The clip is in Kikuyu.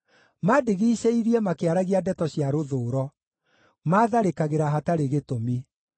Mandigicĩirie makĩaragia ndeto cia rũthũũro; maatharĩkagĩra hatarĩ gĩtũmi.